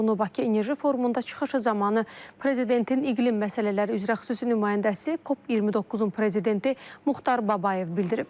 Bunu Bakı Enerji Forumunda çıxışı zamanı prezidentin iqlim məsələləri üzrə xüsusi nümayəndəsi, COP29-un prezidenti Muxtar Babayev bildirib.